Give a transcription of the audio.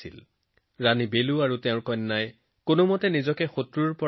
কোনোমতে ৰাণীজী আৰু তেওঁৰ কন্যা তাৰ পৰা পলায়ন কৰিবলৈ সক্ষম হয়